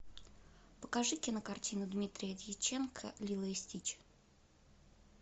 покажи кинокартину дмитрия дьяченко лило и стич